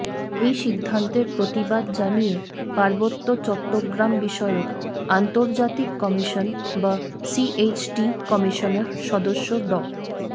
এই সিদ্ধান্তের প্রতিবাদ জানিয়ে পার্বত্য চট্টগ্রামবিষয়ক আন্তর্জাতিক কমিশন বা সিএইচটি কমিশনের সদস্য ড